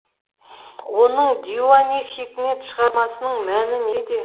оның диуани хикмет шығармасының мәні неде